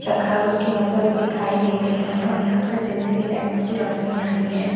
रखा है उसकी मसल्स दिखाई दे रह है यहाँ पर चलती हुई लाइट की रोशनी आ रही है।